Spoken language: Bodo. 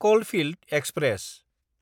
कलफिल्ड एक्सप्रेस